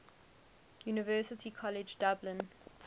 university college dublin